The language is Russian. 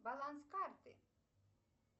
баланс карты